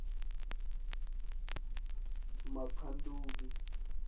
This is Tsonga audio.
makhanduli